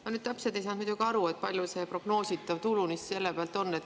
Ma nüüd täpselt ei saanud muidugi aru, kui palju see prognoositav tulu selle pealt on.